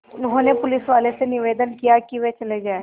उन्होंने पुलिसवालों से निवेदन किया कि वे चले जाएँ